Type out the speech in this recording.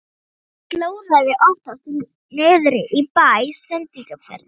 Ég slóraði oftast niðri í bæ í sendiferðunum.